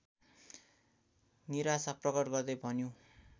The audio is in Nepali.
निराशा प्रकट गर्दै भन्यो